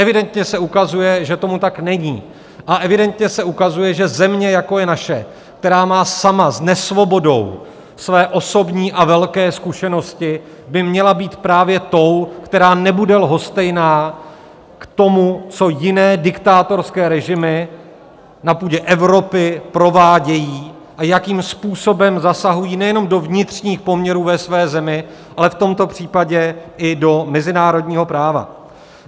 Evidentně se ukazuje, že tomu tak není, a evidentně se ukazuje, že země, jako je naše, která má sama s nesvobodou své osobní a velké zkušenosti, by měla být právě tou, která nebude lhostejná k tomu, co jiné diktátorské režimy na půdě Evropy provádějí a jakým způsobem zasahují nejenom do vnitřních poměrů ve své zemi, ale v tomto případě i do mezinárodního práva.